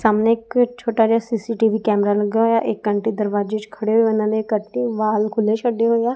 ਸਾਹਮਣੇ ਇੱਕ ਛੋਟਾ ਜਿਹਾ ਸੀ_ਸੀ_ਟੀ_ਵੀ ਕੈਮਰਾ ਲੱਗਾ ਹੋਇਆ ਇੱਕ ਆਂਟੀ ਦਰਵਾਜ਼ੇ 'ਚ ਖੜੇ ਹੋਏ ਇਹਨਾਂ ਨੇ ਕੱਟੀ ਵਾਲ ਖੁੱਲੇ ਛੱਡੇ ਹੋਏ ਆ।